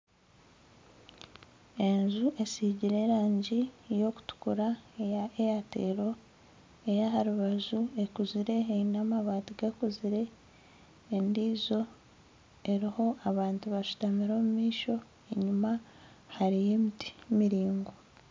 Enju esigire erangi eyokutukura eya airtel eryaharubaju ekuzire Eine amabaati gakuzire endiijo eriho abantu bashutamire omumaisho enyuma hariyo emiti miraingwa